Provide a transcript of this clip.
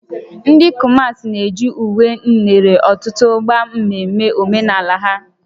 Ndị Kumasi na-eji uwe nere ọtụtụ ágbá mmemme omenala ha